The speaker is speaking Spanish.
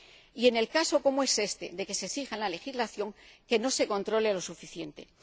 Y en el caso, como es éste, de que se exija en la legislación, que no se controle suficientemente.